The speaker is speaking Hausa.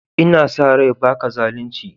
N'na sa rai ba ka zalunci?